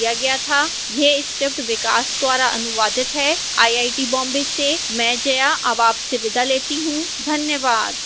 यह स्क्रिप्ट विकास द्वारा अनुवादित है आईआईटी बॉम्बे से मैं जया अब आपसे विदा लेती हूं धन्यवाद